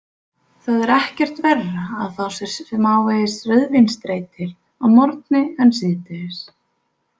Það er ekkert verra að fá sér smávegis rauðvínsdreitil að morgni en síðdegis.